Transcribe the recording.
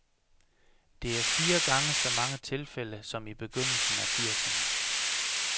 Det er fire gange så mange tilfælde som i begyndelsen af firserne.